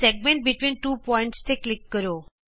segment between two points ਤੇ click ਕਰੋ